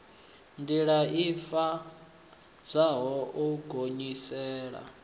ndila i pfadzaho u gonyisela